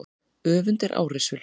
Öfund er árrisul.